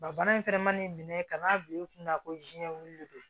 Ba bana in fɛnɛ mana nin minɛ ka n'a bila i kunna ko wulilen don